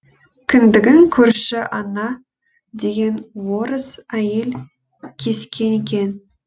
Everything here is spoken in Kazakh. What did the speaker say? кіндігін көрші анна деген орыс әйел кескен екен